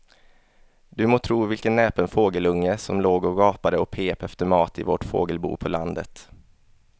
Du må tro vilken näpen fågelunge som låg och gapade och pep efter mat i vårt fågelbo på landet.